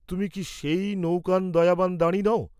তুমি কি সেই নৌকান্ দয়াবান দাঁড়ি নও?